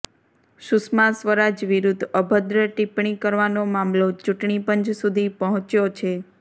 સુષમા સ્વરાજ વિરુદ્ધ અભદ્ર ટિપ્પણી કરવાનો મામલો ચૂંટણી પંચ સુધી પહોંચ્યો છે